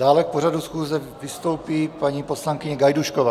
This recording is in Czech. Dále k pořadu schůze vystoupí paní poslankyně Gajdůšková.